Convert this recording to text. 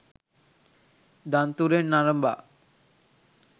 දන්තුරෙන් අරඹා